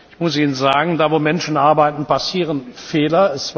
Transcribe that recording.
Ich muss Ihnen sagen, da, wo Menschen arbeiten, passieren Fehler.